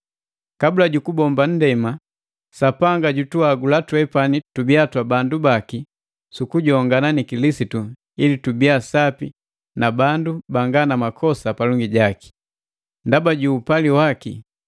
Kabula jukubombwa nndema, Sapanga jutuhagula twepani tubiya twa bandu baki sukujongana ni Kilisitu ili tubiya sapi na bandu banga na makosa palongi jaki. Ndaba ju upali waki,